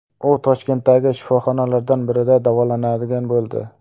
U Toshkentdagi shifoxonalardan birida davolanadigan bo‘ldi.